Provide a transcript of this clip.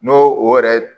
N'o o yɛrɛ